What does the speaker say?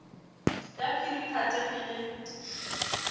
ya phiri phate ke le